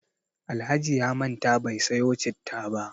Alhaji ya manta bai sayo citta ba.